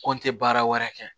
Ko n tɛ baara wɛrɛ kɛ